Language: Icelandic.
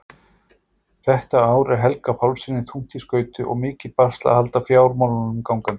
Þetta ár er Helga Pálssyni þungt í skauti og mikið basl að halda fjármálunum gangandi.